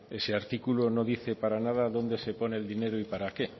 ese artículo no dice para nada dónde se pone el dinero y para qué